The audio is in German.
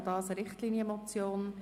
Auch dies ist eine Richtlinienmotion.